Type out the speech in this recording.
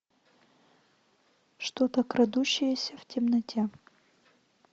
что то крадущееся в темноте